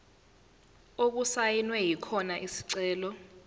okusayinwe khona isicelo